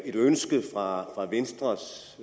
et ønske fra venstres